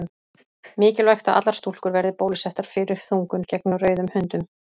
Mikilvægt að allar stúlkur verði bólusettar fyrir þungun gegn rauðum hundum.